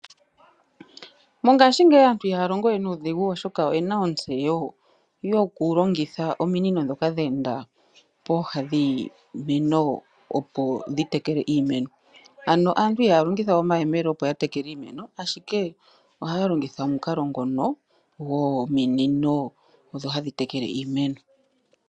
Mongaashingeyi aantu iha ya longo we nuudhigu oshoka oye na ontseyo yokulongitha ominino ndhoka dheenda pooha dhiiimeno, opo dhi tekele iimeno ano aantu iha ya longithawe omayele okutekela iimemo ashike oha ya longitha omukalo ngono gominino odho hadhi tekele iimeno.